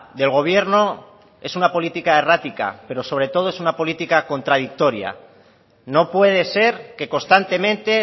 del gobierno es una política erradica pero sobre todo es una política contradictoria no puede ser que constantemente